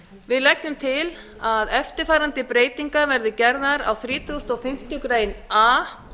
við leggjum til að eftirfarandi breytingar verði gerðar á þrítugasta og fimmtu grein a